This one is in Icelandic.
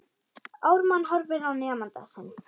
Ármann horfir á nemanda sinn.